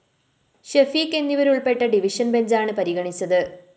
ഷെഫീഖ് എന്നിവരുള്‍പ്പെട്ട ഡിവിഷൻ ബെഞ്ചാണ് പരിഗണിച്ചത്